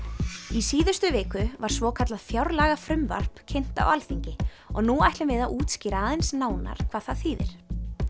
í síðustu viku voru svokallað fjárlagafrumvarp kynnt á Alþingi og nú ætlum við að útskýra aðeins nánar hvað það þýðir